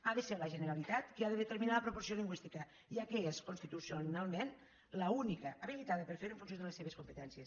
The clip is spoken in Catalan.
ha de ser la generalitat qui ha de determinar la proporció lingüística ja que és constitucionalment l’única habilitada per fer ho en funció de les seves competències